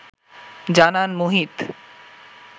জানান মুহিত